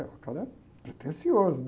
O cara é pretencioso, né?